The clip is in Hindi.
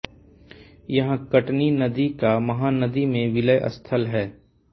यहाँ कटनी नदी का महानदी में विलयस्थल है